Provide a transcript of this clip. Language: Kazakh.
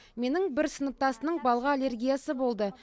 менің бір сыныптасымның балға аллергиясы болды